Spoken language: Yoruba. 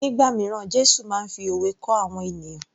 Nígbà míràn Jésù máa ń fi òwe kọ́ àwọn ènìyàn